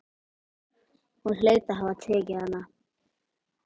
Hún hlaut að hafa tekið hana.